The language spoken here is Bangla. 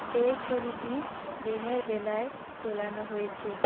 এই ছবিটি দিনের বেলায় তোলানো হয়েছে।